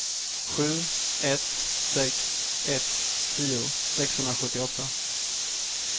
sju ett sex ett tio sexhundrasjuttioåtta